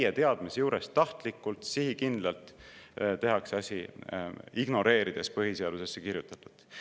Täie teadmise juures, tahtlikult, sihikindlalt tehakse asi ära, ignoreerides põhiseadusesse kirjutatut.